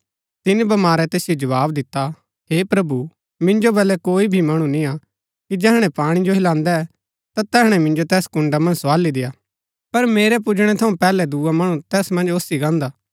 तिनी बमारै तैसिओ जवाव दिता हे प्रभु मिन्जो बलै कोई भी मणु निंआ कि जैहणै पाणी जो हिलांदै ता तैहणै मिंजो तैस कुंडा मन्ज सोआली देआ पर मेरै पुजणै थऊँ पैहलै दुआ मणु तैस मन्ज ओसी गान्दा हा